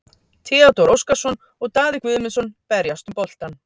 Theodór Óskarsson og Daði Guðmundsson berjast um boltann.